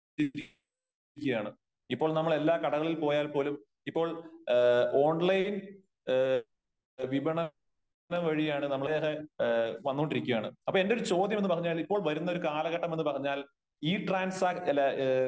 ഇപ്പോൾ നമ്മൾ എല്ലാ കടകളിൽ പോയാൽ പോലും ഇപ്പോൾ ഓൺലൈൻ എ വിപണനം വഴിയാണ് നമ്മൾ വന്നോണ്ടിരിക്കുകയാണ് അപ്പോ എന്റെ ഒരു ചോദ്യമെന്ന് പറഞ്ഞാൽ ഇപ്പോൾ വരുന്ന ഒരു കാലഘട്ടമെന്ന് പറഞ്ഞാൽ ഇ ട്രാൻസ് അല്ല ഏ